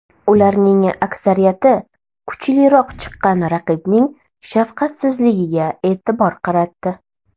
Ularning aksariyati kuchliroq chiqqan raqibning shafqatsizligiga e’tibor qaratdi.